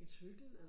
en cykel eller